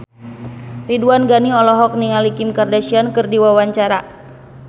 Ridwan Ghani olohok ningali Kim Kardashian keur diwawancara